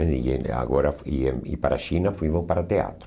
E e em agora, e e para a China, fomos para teatro.